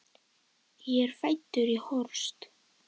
Ég er fæddur í Horst.